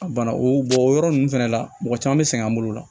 A bana o bɔnyɔrɔ ninnu fɛnɛ la mɔgɔ caman be sɛgɛn an bolo o la